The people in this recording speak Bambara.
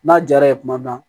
N'a diyara ye tuma min na